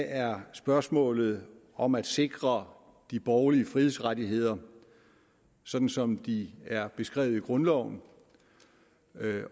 er spørgsmålet om at sikre de borgerlige frihedsrettigheder sådan som de er beskrevet i grundloven